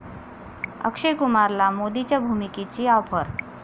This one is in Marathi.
अक्षय कुमारला मोदींच्या भूमिकेची आॅफर